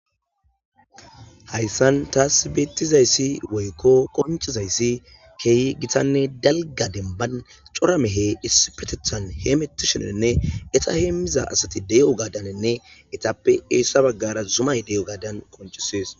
hayssan taas beettizayssi woykko qonchizayssi keeyi gitanne dalga demban coramehe issipetethan he metishenenne eta heemmiza asati de7o gadanenne etappe eessa baggara zumay de7o gadan qonchisees